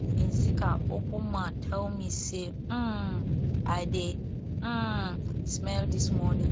ngzika open mouth tell me say um i dey um smell dis morning